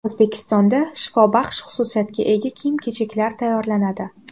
O‘zbekistonda shifobaxsh xususiyatga ega kiyim-kechaklar tayyorlanadi.